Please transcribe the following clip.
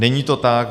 Není to tak.